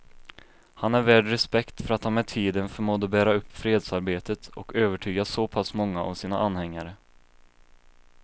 Han är värd respekt för att han med tiden förmådde bära upp fredsarbetet och övertyga så pass många av sina anhängare.